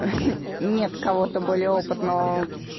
хе нет кого-то более опытного